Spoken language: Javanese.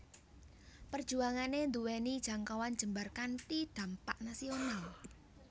Perjuangané nduwèni jangkauan jembar kanthi dhampak nasional